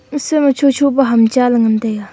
ese ma chu chu pe hum chaley ngan taiga.